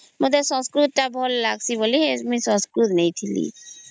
ମତେ ସଂସ୍କୃତ ଟା ଭଲ ଲାଗୁଛି ବୋଲି ସଂସ୍କୃତ ନେଲି